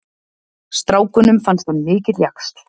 Strákunum fannst hann mikill jaxl.